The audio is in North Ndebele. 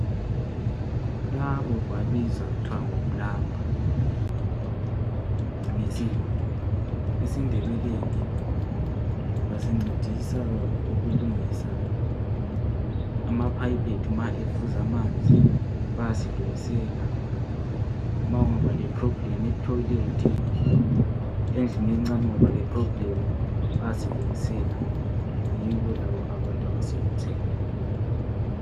labo babizwa kuthwa kuthwa ngoplumber ngesilungu esindebeleni basincedisa ukulungisa ama pipe ethu ma evuza amanzi bayasilungisela ma ungaba le problem e toilet endlini encane kungaba le problem baysilungisela yibo laba abantu